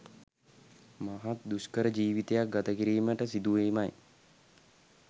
මහත් දුෂ්කර ජිවිතයක් ගත කිරීමට සිදු වීමයි.